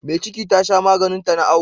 Me ciki Tasha maganin ta na awo